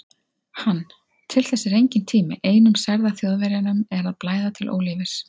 Hann: til þess er enginn tími, einum særða Þjóðverjanum er að blæða til ólífis